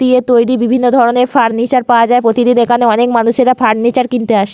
দিয়ে তৈরী বিভিন্ন ধরনের ফার্নিচার পাওয়া যায় প্রতিদিন এখানে অনেক মানুষেরা ফার্নিচার কিনতে আসে।